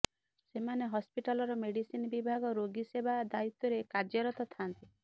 ସେମାନେ ହସ୍ପିଟାଲର ମେଡିସିନ ବିଭାଗ ରୋଗୀ ସେବା ଦାୟିତ୍ୱରେ କାର୍ଯ୍ୟରତ ଥାନ୍ତି